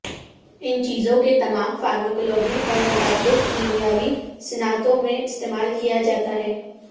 ان چیزوں کے تمام فارماکولوجی اور متعدد کیمیاوی صنعتوں میں استعمال کیا جاتا ہے